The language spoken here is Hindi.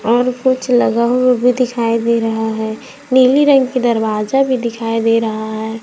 और कुछ लगा हुआ भी दिखाई दे रहा है नीली रंग की दरवाजा भी दिखाई दे रहा हैं।